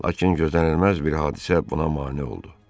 Lakin gözlənilməz bir hadisə buna mane oldu.